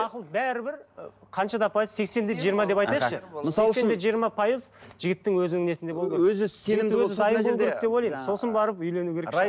ақыл бәрібір ы қанша да пайыз сексен де жиырма деп айтайықшы сексен де жиырма пайыз жігіттің өзінің несінде болу керек сосын барып үйлену керек